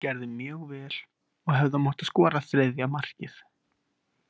Við gerðum mjög vel og hefðum átt að skora þriðja markið.